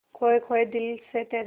खोए खोए दिल से तेरे